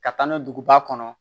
Ka taa n'o ye duguba kɔnɔ